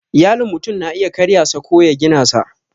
Iyalin mutum na iya karya sa ko ya gina sa